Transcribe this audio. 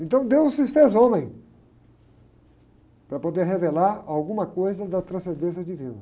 Então deus se fez homem para poder revelar alguma coisa da transcendência divina.